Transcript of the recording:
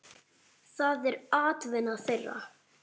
Það er atvinna þeirra.